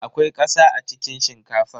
Akwai ƙasa a cikin shinkafar.